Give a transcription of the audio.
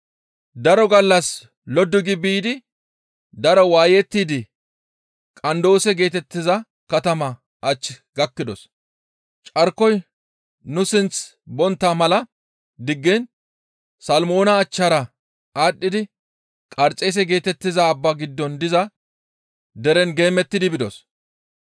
Daro gallas loddu gi biidi daro waayettidi Qandoose geetettiza katamaa ach gakkidos; carkoyka nu sinth bontta mala diggiin Salmmoona achchara aadhdhidi Qarxeese geetettiza abbaa giddon diza deren geemettidi bidos.